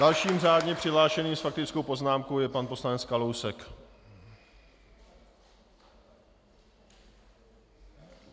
Dalším řádně přihlášeným s faktickou poznámkou je pan poslanec Kalousek.